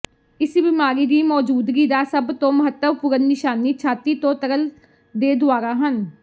ਇਸ ਬਿਮਾਰੀ ਦੀ ਮੌਜੂਦਗੀ ਦਾ ਸਭ ਤੋਂ ਮਹੱਤਵਪੂਰਣ ਨਿਸ਼ਾਨੀ ਛਾਤੀ ਤੋਂ ਤਰਲ ਦੇ ਦੁਵਾਰਾ ਹਨ